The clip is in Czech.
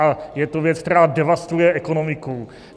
A je to věc, která devastuje ekonomiku.